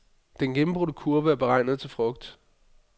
Den gennembrudte kurv er beregnet til frugt.